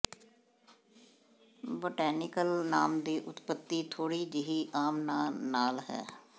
botanical ਨਾਮ ਦੀ ਉਤਪਤੀ ਥੋੜ੍ਹੀ ਜਿਹੀ ਆਮ ਨਾਂ ਨਾਲ ਹੈ